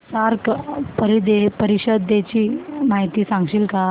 SAARC परिषदेची माहिती सांगशील का